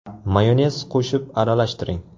Mayonez qo‘shib aralashtiring.